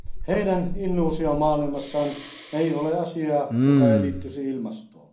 Heidän illuusiomaailmassaan ei ole asiaa, joka ei liittyisi ilmastoon.